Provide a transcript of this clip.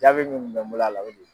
Jaabi min kun bɛ n bolo a la o de ye